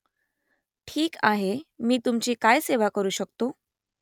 ठीक आहे मी तुमची काय सेवा करू शकतो ?